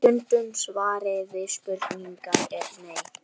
Stutta svarið við spurningunni er nei.